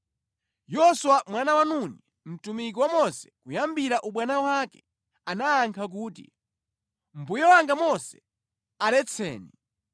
Yoswa mwana wa Nuni, mtumiki wa Mose kuyambira ubwana wake, anayankha kuti, “Mbuye wanga Mose, aletseni!”